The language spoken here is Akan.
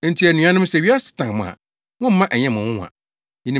Enti anuanom, sɛ wiasefo tan mo a, mommma ɛnyɛ mo nwonwa.